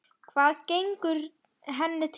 Hvað gengur henni til?